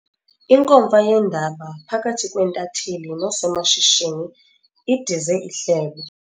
Inkomfa yeendaba phakathi kweentatheli nosomashishini idize ihlebo.